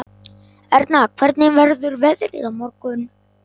Erna, hvernig verður veðrið á morgun?